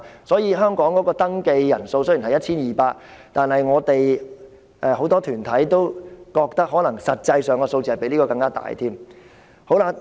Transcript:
所以，香港的露宿者登記人數雖然只有 1,200， 但很多團體都認為實際的數字可能更多。